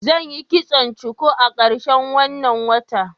zan Yi kitson cuku a karshen wanna wata.